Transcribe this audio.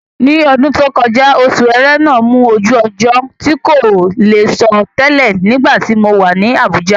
Ní ọdún tó kọjá, Oṣù Ẹrẹ́nà mú ojú ọjọ́ tí kò lè sọ tẹlẹ̀ nígbàtí mo wà ní Àbújá.